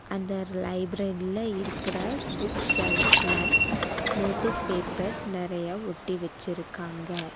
அந்த லைப்ரரில இருக்குற புக்ஸ் செல்ஃப்ல நோட்டிஸ் பேப்பர் நெறைய ஒட்டி வெச்சிருக்காங்க.